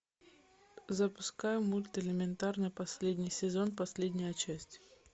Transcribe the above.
запускай мульт элементарно последний сезон последняя часть